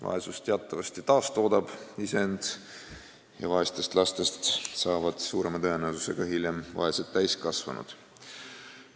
Vaesus teatavasti taastoodab iseend: vaestest lastest saavad hiljem suurema tõenäosusega vaesed täiskasvanud.